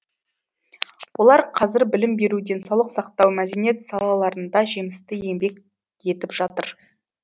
олар қазір білім беру денсаулық сақтау мәдениет салаларында жемісті еңбек етіп жатыр